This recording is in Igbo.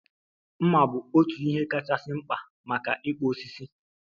Mma bu otu ihe kachasị mkpa maka ịkpụ osisi